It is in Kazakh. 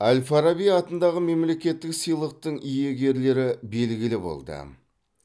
әл фараби атындағы мемлекеттік сыйлықтың иегерлері белгілі болды